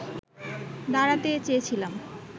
দাঁড়াতে চেয়েছিলাম